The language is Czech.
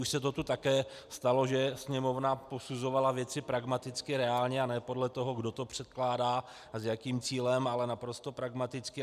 Už se to tu také stalo, že Sněmovna posuzovala věci pragmaticky, reálně a ne podle toho, kdo to předkládá a s jakým cílem, ale naprosto pragmaticky.